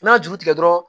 N'a y'a juru tigɛ dɔrɔn